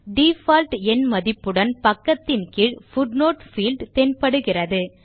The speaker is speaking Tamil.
டிஃபால்ட் எண் மதிப்புடன் பக்கத்தின் கீழ் பூட்னோட் பீல்ட் தென்படுகிறது